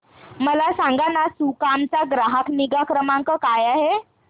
मला सांगाना सुकाम चा ग्राहक निगा क्रमांक काय आहे